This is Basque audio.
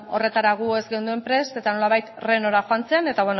beno horretara gu ez geunden prest eta nolabait renora joan zen eta